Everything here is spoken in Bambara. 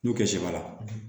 N'u kɛ sɛbara